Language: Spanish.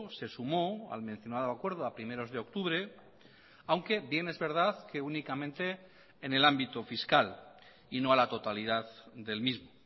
se sumó al mencionado acuerdo a primeros de octubre aunque bien es verdad que únicamente en el ámbito fiscal y no a la totalidad del mismo